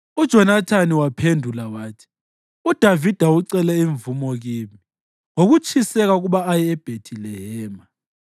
UJonathani waphendula wathi, “UDavida ucele imvumo kimi ngokutshiseka ukuba aye eBhethilehema.